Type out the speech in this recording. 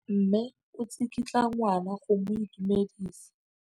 Mme o tsikitla ngwana go mo itumedisa.